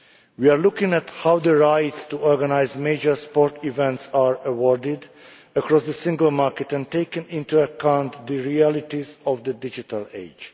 We are looking at how the rights to organise major sporting events are awarded across the single market and taking into account the realities of the digital age.